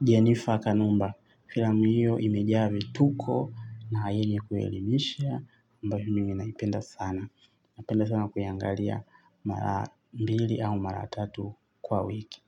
Jennifer Kanumba. Filamu hiyo imejaa vituko na yenye kuelimishia ambayo mimi naipenda sana napenda sana kuiangalia mara mbili au mara tatu kwa wiki.